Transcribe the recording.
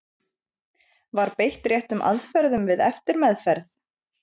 Var beitt réttum aðferðum við eftirmeðferð?